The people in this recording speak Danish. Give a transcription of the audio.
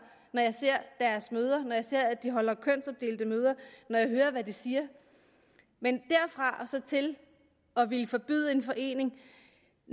når jeg ser deres møder når jeg ser at de holder kønsopdelte møder når jeg hører hvad de siger men derfra og så til at ville forbyde en forening